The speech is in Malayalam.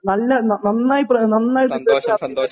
നന്നായി നന്നായിട്ടുണ്ട്